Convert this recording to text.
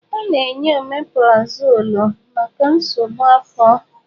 A na-enye ọmeprazọlụ maka nsogbu afọ.